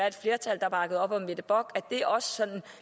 et flertal der bakker op om mette bock altså at det også sådan